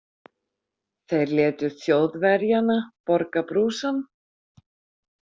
Þeir létu Þjóðverjana borga brúsann.